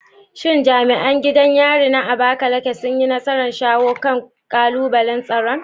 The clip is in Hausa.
Shin jami'an gidan yarin na Abakaleke sun yi nasarar shawo kan kalubalen tsaron?